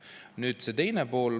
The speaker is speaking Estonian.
Nüüd see teine pool.